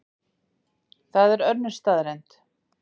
Það er önnur staðreynd.